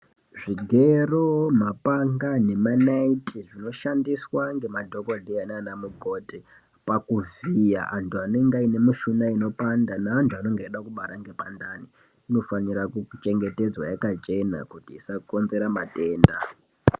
Zvigero, mapanga nemanaiti zvinoshandiswa ngemadhokodheya naana mukoti pakuvhiya antu anenge anemushuna inopanda neantu anoda kubara ngepandani inofanira kuchengetedzwa yakachena kuti isakonzera matenda .